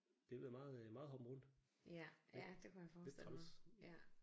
Det har været meget meget hoppen rundt. Lidt lidt træls